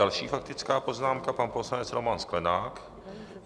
Další faktická poznámka, pan poslanec Roman Sklenák.